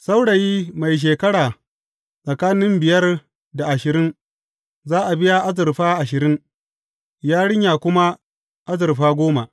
Saurayi mai shekara tsakanin biyar da ashirin, za a biya azurfa ashirin, yarinya kuma azurfa goma.